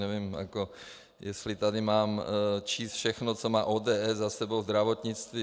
Nevím, jestli tady mám číst všechno, co má ODS za sebou, zdravotnictví...